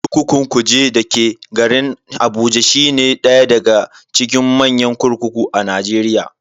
Kurkukun Kuje dake garin Abuja shine daya daga cikin manyan kurkuku a Najeriya.